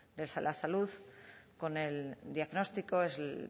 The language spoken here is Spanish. de la salud con el diagnóstico es el